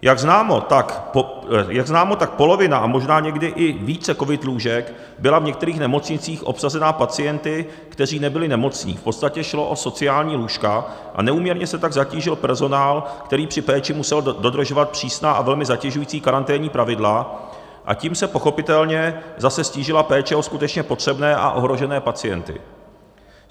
Jak známo, tak polovina a možná někdy i více covid lůžek byla v některých nemocnicích obsazena pacienty, kteří nebyli nemocní, v podstatě šlo o sociální lůžka, a neúměrně se tak zatížil personál, který při péči musel dodržovat přísná a velmi zatěžující karanténní pravidla, a tím se pochopitelně zase ztížila péče o skutečně potřebné a ohrožené pacienty.